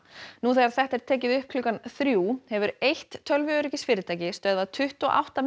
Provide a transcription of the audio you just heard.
nú þegar þetta er tekið upp klukkan þrjú hefur eitt tölvuöryggisfyrirtæki stöðvað tuttugu og átta